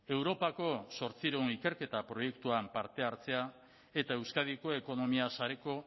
europako zortziehun ikerketa proiektuan parte hartzea eta euskadiko ekonomia sareko